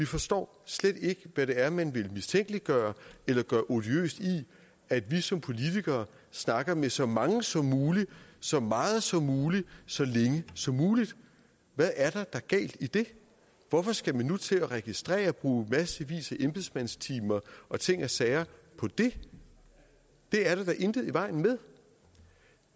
forstår slet ikke hvad det er man vil mistænkeliggøre eller gøre odiøst i at vi som politikere snakker med så mange som muligt så meget som muligt så længe som muligt hvad er der da galt i det hvorfor skal man nu til at registrere og bruge massevis af embedsmændstimer og ting og sager på det det er der da intet i vejen med